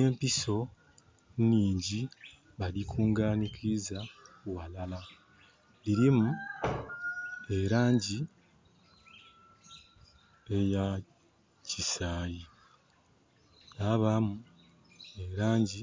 Empiso inhingi badikunganikiza ghalala. Dhirimu elangi eya kisayi, dhabamu elangi